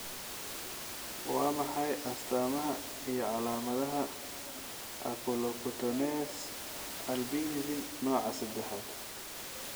Waa maxay astamaha iyo calaamadaha Oculocutaneous albinism nooca sedexaad?